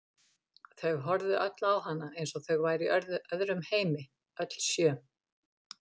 Þau horfðu öll á hana eins og þau væru í öðrum heimi, öll sjö.